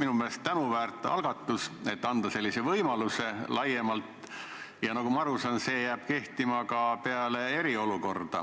minu meelest tänuväärt algatus, et anda selline võimalus laiemalt, ja nagu ma aru saan, see jääb kehtima ka peale eriolukorda.